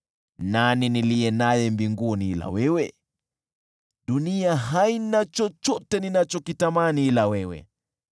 Nani niliye naye mbinguni ila wewe? Dunia haina chochote ninachokitamani ila wewe.